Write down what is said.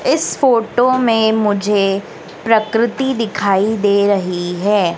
इस फोटो में मुझे प्रकृति दिखाई दे रही हैं।